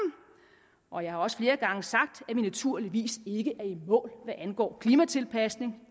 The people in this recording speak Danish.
og jeg har også flere gange sagt at vi naturligvis ikke er i mål hvad angår klimatilpasning